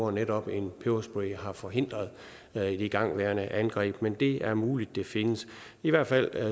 at netop en peberspray har forhindret et igangværende angreb men det er muligt at det findes i hvert fald